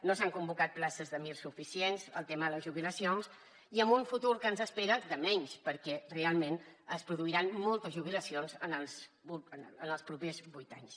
no s’han convocat places de mir suficients el tema de les jubilacions i amb un futur que ens espera de menys perquè realment es produiran moltes jubilacions en els propers vuit anys